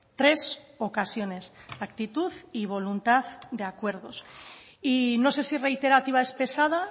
tres ocasiones actitud y voluntad de acuerdos y no sé si reiterativa es pesada